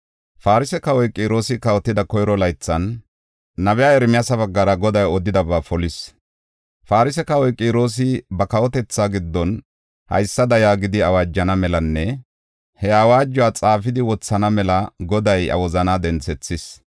Farse kawoy Qiroosi kawotida koyro laythan, nabiya Ermiyaasa baggara Goday odidaba polis. Farse kawoy Qiroosi ba kawotethaa giddon haysada yaagidi awaajana melanne he awaajuwa xaafidi wothana mela Goday iya wozana denthethis.